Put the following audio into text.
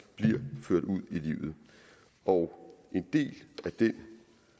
bliver ført ud i livet og en del af det